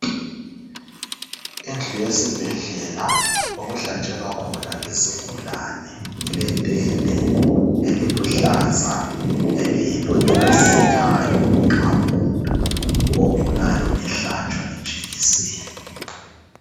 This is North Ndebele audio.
Indlu yesibhedlela okuhlatshelwa khona izigulane eletende eliluhlaza eliyilo elisithayo nxa umuntu ogulayo ehlatshwa ijekiseni.